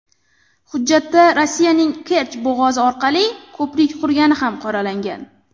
Hujjatda Rossiyaning Kerch bo‘g‘ozi orqali ko‘prik qurgani ham qoralangan.